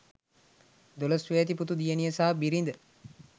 දොළොස් වියැති පුතු දියණිය සහ බිරිද